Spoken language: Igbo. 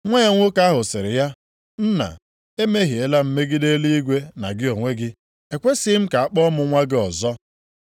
“Nwa ya nwoke ahụ sịrị ya, ‘Nna, emehiela m megide eluigwe na gị onwe gị. Ekwesighị m ka a kpọọ m nwa gị ọzọ.’